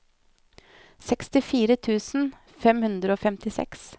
sekstifire tusen fem hundre og femtiseks